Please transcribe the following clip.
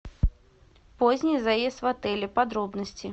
поздний заезд в отеле подробности